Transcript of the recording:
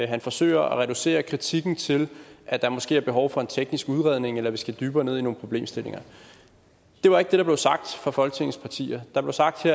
han forsøger at reducere kritikken til at der måske er behov for en teknisk udredning eller at vi skal dybere ned i nogle problemstillinger det var ikke det der blev sagt af folketingets partier der blev sagt af